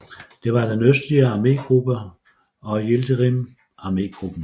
Der var den østlige armégruppe og Yildirim armégruppen